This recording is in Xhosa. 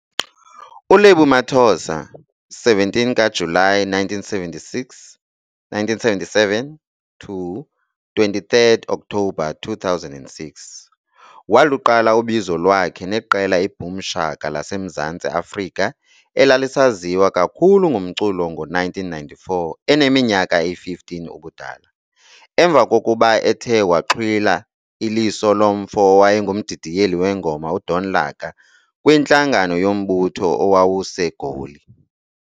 ULebo Mathosa 17 kaJulayi 1977 - 23 kaOktobha 2006 waluqala ubizo lwakhe neqela iBoom Shaka laseMzantsi Afrika elalisaziwa kakhulu ngomculo ngo-1994 eneminyaka eyi-15 ubudala, emva kokuba ethe waxhwila iliso lomfo owayengumdidiyeli weengoma uDon Laka kwintlangano yombutho owawuseGoli.